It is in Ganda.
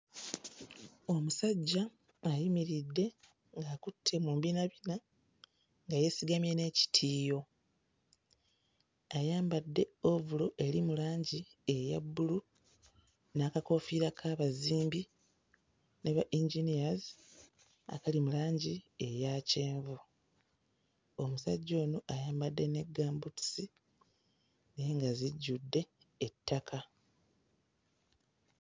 Omusajja ayimiridde ng'akutte mu mbinabina nga yeesigamye n'ekitiiyo. Ayambadde ovulo eri mu langi eya bbulu n'akakoofiira k'abazimbi ne ba-engineers akali mu langi eya kyenvu. Omusajja ono ayambadde ne gambuutusi naye nga zijjudde ettaka.